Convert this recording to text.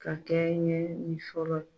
Ka kɛ ɲɛ nin sɔlɔ ye